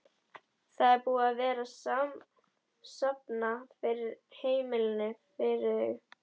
Það er búið að vera safna fyrir heimili fyrir þau?